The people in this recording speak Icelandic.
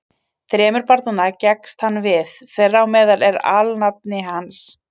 Þremur barnanna gekkst hann við, þeirra á meðal er alnafni hans.